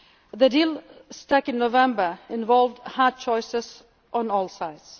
us. The deal struck in November involved hard choices on all